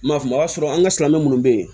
M'a faamu a y'a sɔrɔ an ka silamɛ munnu bɛ ye